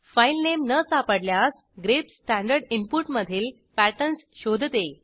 filename न सापडल्यास grep standard इनपुटमधील पॅटर्न्स शोधते